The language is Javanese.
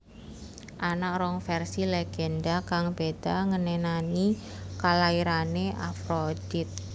Ana rong vèrsi lègendha kang béda ngenani kalairané Afrodit